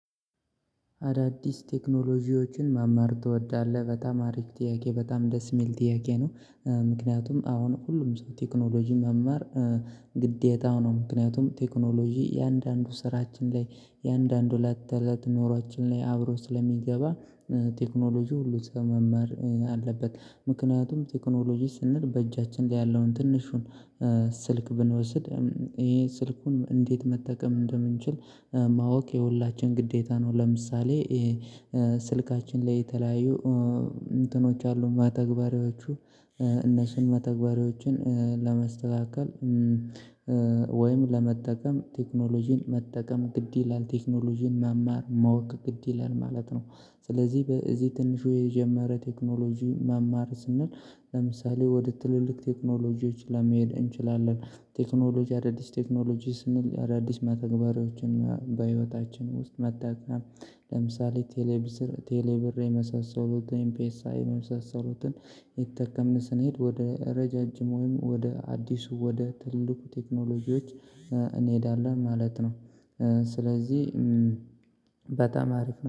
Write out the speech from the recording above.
አዳዲስ ቴክኖሎጂዎችን መማር ትወዳለህ በጣም አሪፍ ጥያቄ በጣም ደስ የሚል ጥያቄ ነው? ምክንያቱም አሁን ሁሉም ሰው ቴክኖሎጂ መማር ግዴታው ነው ምክንያቱም ቴክኖሎጂ እያንዳንዱ ስራችን ላይ እያንዳንዱ እለት እለት ኖሮአችን ላይ አብሮ ስለሚገባ። ቴክኖሎጂ ሁሉ ሰው መማር አለበት ምክንያቱም ቴክኖሎጂ ስንል በእጃችን ላይ ያለውን ትንሹን ስልክ ብንወስድ ይሄ ስልኩን እንዴት መጠቀም እንደምንችል ማወቅ የሁላችን ግዴታ ነው። ለምሳሌ ስልካችን ላይ የተለያዩ እንትኖች አሉ መተግበሪያዎቹ እነሱን መተግበሪያዎችን ለመስተካከል ወይም ለመጠቀም ቴክኖሎጂን መጠቀም ግድ ይላል ቴክኖሎጂን መማር ማወቅ ግድ ይላል ማለት ነው። ስለዚህ በዚህ ትንሹ የጀመረ ቴክኖሎጂ መማር ስንል ለምሳሌ ወደ ትልልቅ ቴክኖሎጂዎች ለመሄድ እንችላለን። ቴክኖሎጂ አዳዲስ ቴክኖሎጂ ስንል አዳዲስ መተግበሪያዎችን በህይወታችን ውስጥ መታከም ለምሳሌ ቴሌብር ቴሌብር የመሳሰሉትን ኤምፒኤስአይ የመሳሰሉትን እይተጠቀምን ስንሄድ ወደ ረዣዥም ወይም ወደ አዲሱ ወደ ትልቁ ቴክኖሎጂዎች እንሄዳለን ማለት ነው። ስለዚህ በጣም አሪፍ ነው